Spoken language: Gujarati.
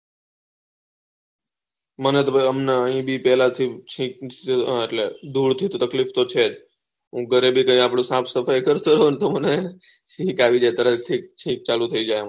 મને તો ભાઈ એ ભી પેહલા થી ચ્ચીચ એટલે ધૂળ થી તકલીફ તો છે હું ઘરે ભી આપળે સાફ સફાઈ કરતો હોય તો મને ચ્ચીચ આવી જાય તરત થી